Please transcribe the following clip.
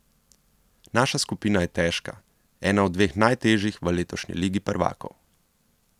Naša skupina je težka, ena od dveh najtežjih v letošnji ligi prvakov.